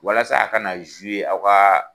Walasa a kana aw ka